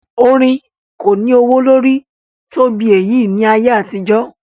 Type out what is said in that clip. Orin kò ní ọwọ́ lórí tó bí èyí ní ayé àtijó.